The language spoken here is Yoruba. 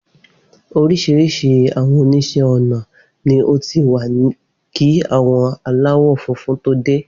Oríṣiríṣi àwọn oníṣẹ́ ọnà ni ó ti wà kí àwọn aláwọ̀ funfun tó dé.